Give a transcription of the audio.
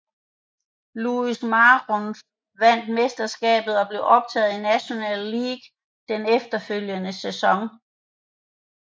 Louis Maroons vandt mesterskabet og blev optaget i National League den efterfølgede sæson